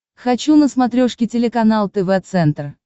хочу на смотрешке телеканал тв центр